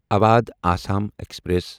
Awadh Assam express